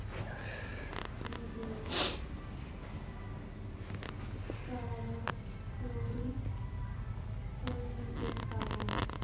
নিজেও চারাগাছ তরি করে নিতে পারেন।